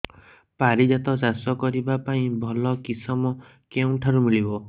ପାରିଜାତ ଚାଷ କରିବା ପାଇଁ ଭଲ କିଶମ କେଉଁଠାରୁ ମିଳିବ